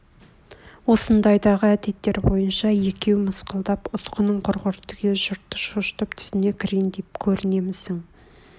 осындайдағы әдеттер бойынша екеу мысқылдап ұсқының құрғыр түге жұртты шошытып түсіне кірейн деп көрінемісің